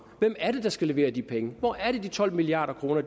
hvem er det der skal levere de penge hvor er det de tolv milliard kroner